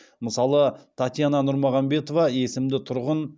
мысалы татьяна нұрмағамбетова есімді тұрғын